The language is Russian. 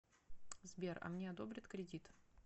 сбер а мне одобрят кредит